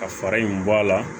Ka fara in bɔ a la